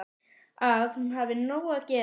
Að hún hafi nóg að gera.